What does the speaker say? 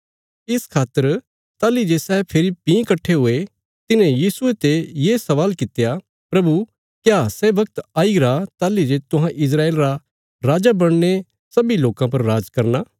इस खातर ताहली जे सै फेरी भीं कट्ठे हुये तिन्हें यीशुये ते ये स्वाल कित्या प्रभु क्या सै वगत आईगरा ताहली जे तुहां इस्राएल रा राजा बणीने सब्बीं लोकां पर राज करना